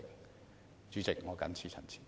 代理主席，我謹此陳辭。